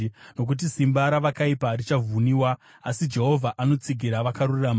nokuti simba ravakaipa richavhuniwa, asi Jehovha anotsigira vakarurama.